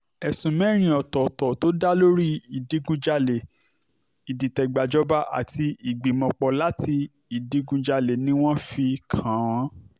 ẹ̀sùn mẹ́rin ọ̀tọ̀ọ̀tọ̀ tó dá lórí ìdígunjalè ìdìtẹ̀gbàjọba àti ìgbìmọ̀-pọ̀ láti ìdígunjalè ni wọ́n fi kàn wọ́n